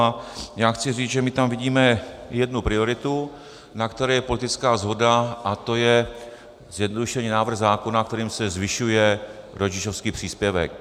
A já chci říct, že my tam vidíme jednu prioritu, na které je politická shoda, a to je zjednodušený návrh zákona, kterým se zvyšuje rodičovský příspěvek.